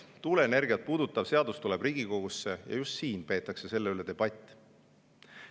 Tuuleenergiat puudutav seadus tuleb Riigikogusse ja just siin peetakse selle üle debatt.